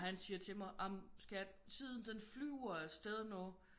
Og han siger til mig jamen skat tiden den flyver af sted nu